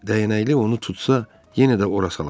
Dəyənəkli onu tutsa, yenə də ora salacaq.